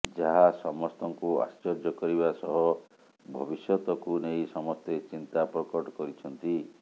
ଯାହା ସମସ୍ତଙ୍କୁ ଆଶ୍ଚର୍ଯ୍ୟ କରିବା ସହ ଭବିଷ୍ୟତକୁ ନେଇ ସମସ୍ତେ ଚିନ୍ତାପ୍ରକଟ କରିଛନ୍ତି